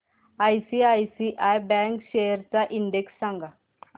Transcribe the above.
ICICI bank shares चा index सांगा